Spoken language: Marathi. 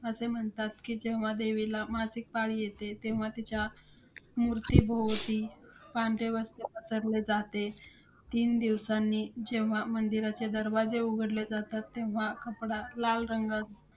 असे म्हणतात, कि जेव्हा देवीला मासिक पाळी येते तेव्हा, तिच्या मूर्तीभोवती पांढरे वस्त्र पसरले जाते. तीन दिवसांनी जेव्हा मंदिराचे दरवाजे उघडले जातात, तेव्हा कपडा लाल रंगाचा